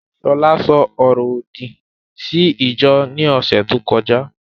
Ṣọlá ṣo ọrọ òdì sí ìjọ ní ọ̀sẹ̀ tó kọjá